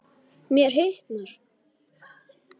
Mér hitnar.